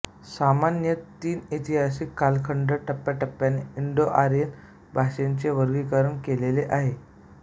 सामान्यतः तीन ऐतिहासिक कालखंडात टप्प्याटप्प्याने इंडो आर्यन भाषांचे वर्गीकरण केलेले आहे